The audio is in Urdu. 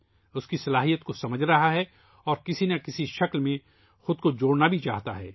اس کی افادیت کو سمجھ رہا ہے اور کسی نہ کسی شکل میں خود کو جوڑنا بھی چاہتا ہے